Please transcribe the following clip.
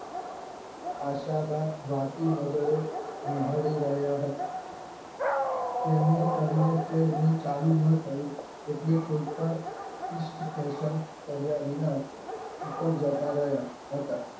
આશા બા વાકી નજરે નિહારી રહ્યા હતા કેમેય કરીને ચેડમીન ચાલુ ન થયું એટલે કોઈ પણ East Payson કર્યા વિના ઉપર જતા રહ્યા હતા